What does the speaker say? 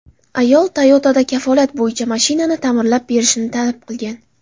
Ayol Toyota’dan kafolat bo‘yicha mashinani ta’mirlab berishni talab qilgan.